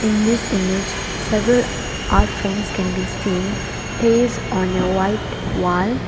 In this image several are frames can be seen placed on a white wall.